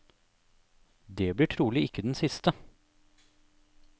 Det blir trolig ikke den siste.